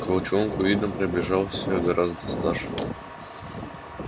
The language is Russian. к волчонку видом приближался гораздо старше